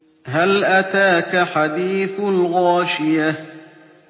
هَلْ أَتَاكَ حَدِيثُ الْغَاشِيَةِ